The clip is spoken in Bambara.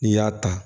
N'i y'a ta